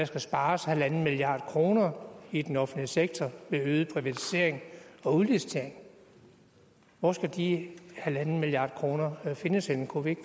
skal spares en milliard kroner i den offentlige sektor ved øget privatisering og udlicitering hvor skal de en milliard kroner findes henne kunne vi